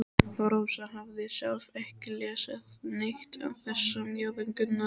Rósa hafði sjálf ekki lesið neitt af þessum ljóðum Gunnars.